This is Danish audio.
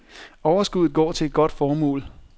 Overskuddet går til et godt formål.